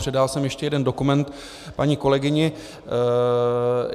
Předával jsem ještě jeden dokument paní kolegyni.